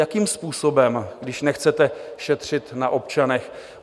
Jakým způsobem, když nechcete šetřit na občanech?